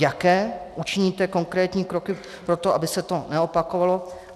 Jaké učiníte konkrétní kroky pro to, aby se to neopakovalo.